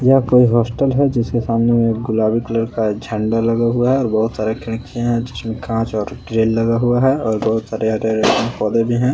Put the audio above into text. ये कोई हॉस्टल है जिसके सामने एक गुलाबी कलर का झंडा लगा हुआ है और बहोत सारे खिड़कियां हैं जिसमें कांच और ग्रील लगा हुआ है और बहोत सारे हरे-हरे पौधे भी हैं।